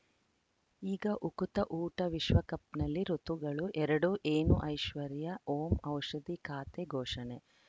ಈಗ ಉಕುತ ಊಟ ವಿಶ್ವಕಪ್‌ನಲ್ಲಿ ಋತುಗಳು ಎರಡು ಏನು ಐಶ್ವರ್ಯಾ ಓಂ ಔಷಧಿ ಖಾತೆ ಘೋಷಣೆ